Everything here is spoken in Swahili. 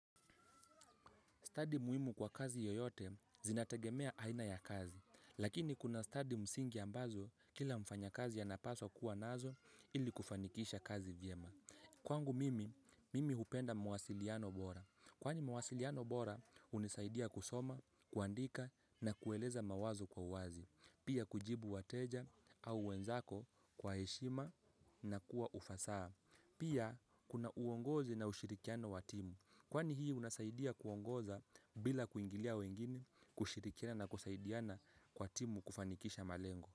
Study muhimu kwa kazi yoyote zinategemea aina ya kazi, lakini kuna study msingi ambazo kila mfanya kazi ya napaswa kuwa nazo ili kufanikisha kazi vyema. Kwangu mimi, mimi hupenda mawasiliano bora. Kwani mawasiliano bora, hunisaidia kusoma, kuandika na kueleza mawazo kwa uwazi. Pia kujibu wateja au wenzako kwa heshima na kwa ufasaha. Pia kuna uongozi na ushirikiano wa timu. Kwani hii unasaidia kuongoza bila kuingilia wengine, kushirikiana na kusaidiana kwa timu kufanikisha malengo.